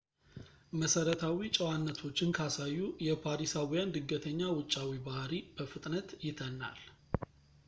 መሰረታዊ ጨዋነቶችን ካሳዩ የፓሪሳዊያን ድንገተኛ ውጫዊ ባህሪ በፍጥነት ይተናል